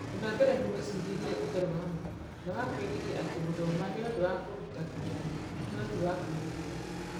Ũndũ wa mbere nĩ mwĩcirĩrie ũtarĩ wa ma, na wa kwĩgiria atĩ gũthoma nĩ ũndũ wa kũruta kĩgeranio, no ti wa kwĩrutĩra.